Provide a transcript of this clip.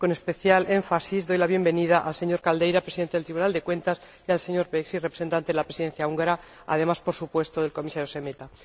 Con especial énfasis doy la bienvenida al señor Caldeira, Presidente del Tribunal de Cuentas, y al señor Becsey, representante de la Presidencia húngara, además de, por supuesto, al Comisario Šemeta.